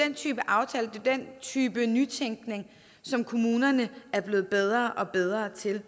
en type aftaler sådan en type nytænkning som kommunerne er blevet bedre og bedre til